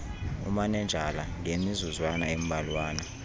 umanenjala ngemizuzwana embalwana